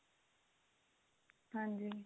ਹਾਂਜੀ